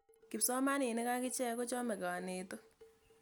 Kipsomaninik akichek ko chame kanetik.